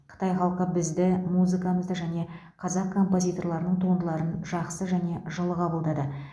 қытай халқы бізді музыкамызды және қазақ композиторларының туындыларын жақсы және жылы қабылдады